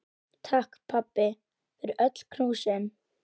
Takk, pabbi, fyrir öll knúsin.